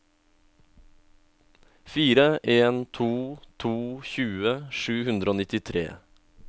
fire en to to tjue sju hundre og nittitre